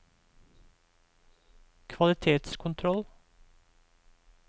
kvalitetskontroll